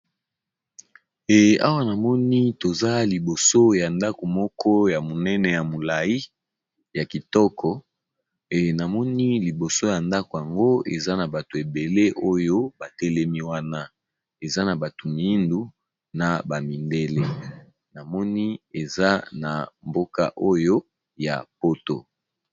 Ee awa namoni toza liboso ya ndako moko ya monene ya molai ya kitoko ee namoni liboso ya ndako yango eza na bato ebele oyo batelemi wana eza na bato miindu na ba mindele namoni eza na mboka oyo ya poto.